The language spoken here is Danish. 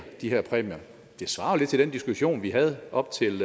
de her præmier det svarer jo lidt til den diskussion vi havde op til